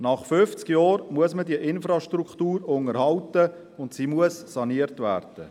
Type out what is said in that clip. Nach fünfzig Jahren muss man diese Infrastruktur unterhalten, und sie muss saniert werden.